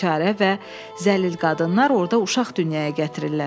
Bicarə və zəlil qadınlar orda uşaq dünyaya gətirirlər.